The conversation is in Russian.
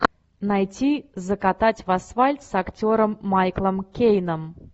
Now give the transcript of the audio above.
найти закатать в асфальт с актером майклом кейном